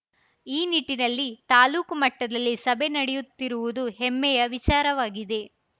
ಈ ನಿಟ್ಟಿನಲ್ಲಿ ತಾಲೂಕು ಮಟ್ಟದಲ್ಲಿ ಸಭೆ ನಡೆಯುತ್ತಿರುವುದು ಹೆಮ್ಮೆಯ ವಿಚಾರವಾಗಿದೆ